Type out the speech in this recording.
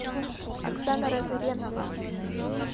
оксана разоренова